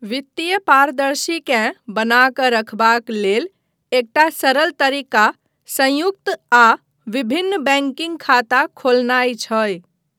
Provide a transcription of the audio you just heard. वित्तीय पारदर्शिताकेँ बना कऽ रखबाक लेल एकटा सरल तरीका संयुक्त आ विभिन्न बैंकिंग खाता खोलनाइ छै।